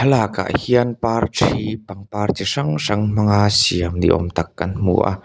lakah hian parthi pangpar chi hrang hrang hmanga siam ni âwm tak kan hmu a.